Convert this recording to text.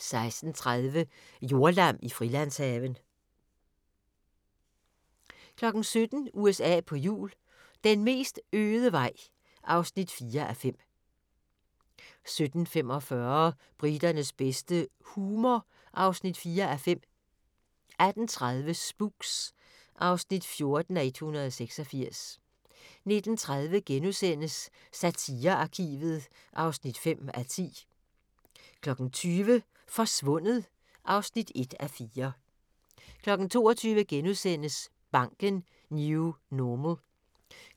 16:30: Jordlam i Frilandshaven 17:00: USA på hjul - den mest øde vej (4:5) 17:45: Briternes bedste - humor (4:5) 18:30: Spooks (14:86) 19:30: Satirearkivet (5:10)* 20:00: Forsvundet (1:4) 22:00: Banken - New Normal